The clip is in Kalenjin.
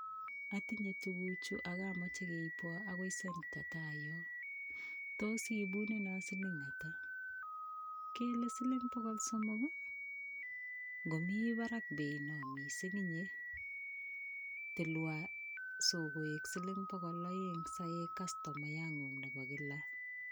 Atinyee tufuu chu ako kamache keib kopaa tugocheek kele siling pokol somok acha weeee tilwa koek pokol aek saek chiii nguuung nepo kila Betut